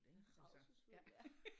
Rædselsfuldt ja